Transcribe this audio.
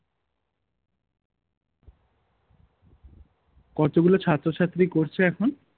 কতগুলো ছাত্র ছাত্রী করছে এখন?